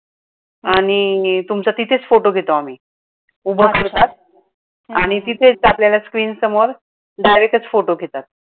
आणि तुमचा तिथेच फोटो घेतो आम्ही. उभ करतात आणि तिथेच आपल्याला screen समोर direct च photo घेतात.